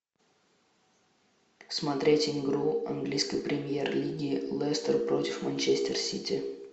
смотреть игру английской премьер лиги лестер против манчестер сити